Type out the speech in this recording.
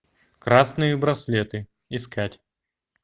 красные браслеты искать